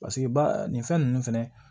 Paseke ba nin fɛn ninnu fɛnɛ